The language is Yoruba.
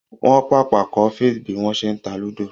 Wọ́n pàpà kọ́ Faith bí wọ́n ṣe ń ta ludo.